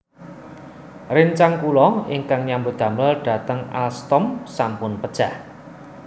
Rencang kula ingkang nyambut damel dateng Alstom sampun pejah